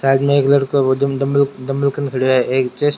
side मे एक लड़का है --